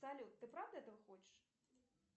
салют ты правда этого хочешь